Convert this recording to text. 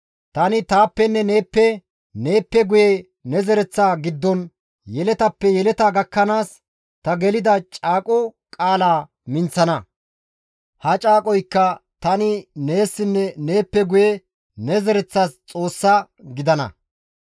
Tani taappenne neeppe, neeppe guye ne zereththa giddon, yeletappe yeleta gakkanaas ta gelida caaqo qaala minththana; ha caaqoykka tani neessinne neeppe guye ne zereththas Xoos gidana.